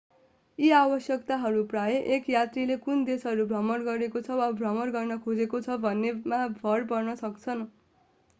यी आवश्यकताहरू प्रायः एक यात्रीले कुन देशहरू भ्रमण गरेको छ वा भ्रमण गर्न खोजेको छ भन्नेमा भर पर्न सक्छन्